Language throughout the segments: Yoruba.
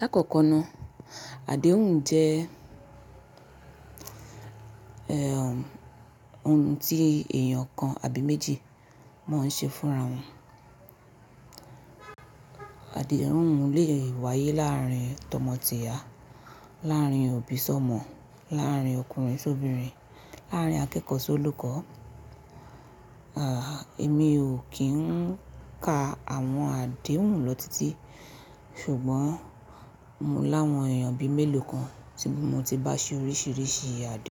Lákòókò náà, àdéhùn jẹ́ òun tí èèyàn kan àbí méjì máa ń ṣe fúnra wọn. Àdéhùn lè wáyé láàárín tọmọ tìyá, láàárín òbí sọ́mọ, láàárín ọkùnrin sóbinrin, láàárín akẹ́kọ̀ọ́ sólùkọ́. Àh emi o kì ń ka àwọn àdéhùn lọ títí, ṣùgbọ́n mo láwọn èèyàn bí mélòó kan tí mo ti bá ṣe oríṣiríṣi àdéhùn.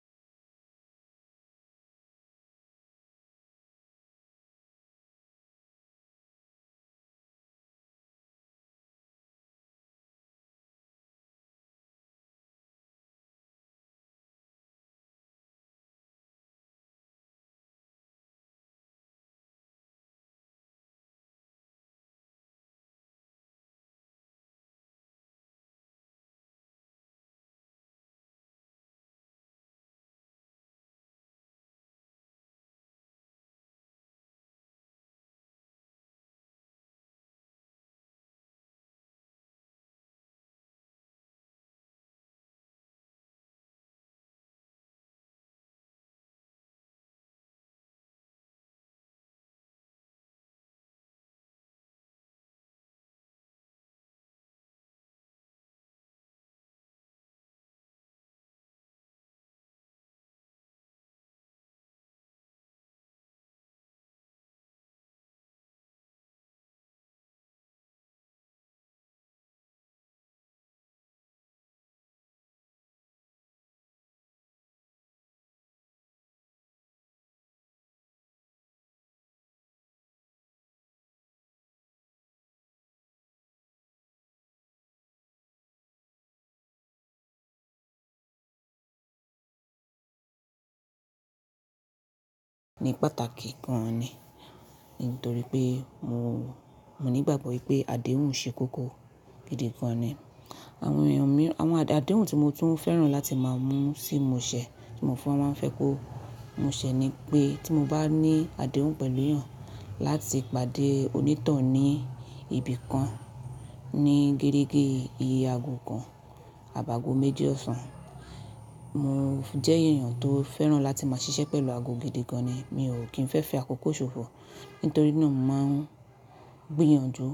Ni pàtàkì gan ni nítorí pé mo nígbàgbọ́ wípé àdéhùn ṣe kókó gidi gan ni. Àwọn àdéhùn tí mo tún fẹ́ràn láti máa mú sí ìmọ̀ọ́ṣẹ́ tí mo fẹ́ran fẹ́ kó mú ṣẹ́ ni pé tí mo bá ní àdéhùn pẹ̀lú èèyàn láti pàdé onítàn hun ní ibi kan ní gérégé iye ago kan àbáago méjì ọ̀sán. Mo jẹ́ ẹ̀yàn tó fẹ́ràn láti máa ṣiṣẹ́ pẹ̀lú ago gidi gan ni. Mi ò kí ń fẹ́ fi àkókò ṣòfò nítorí náà mo máa ń gbìyànjú.